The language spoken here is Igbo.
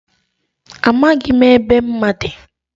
Amaghị m ebe mma dị.